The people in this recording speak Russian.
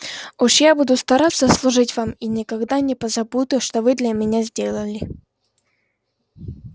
уж я буду стараться служить вам и никогда не позабуду что вы для меня сделали